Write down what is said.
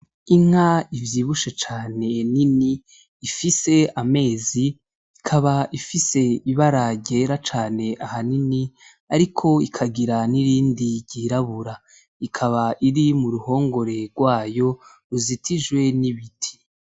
Inka ivyibushe cane nini ifise amezi ikaba ifise ibara ryera cane ahanini ariko ikagira nirindi ryirabura ikaba iri muruhongore gwayo ruzitijwe n' ibiti.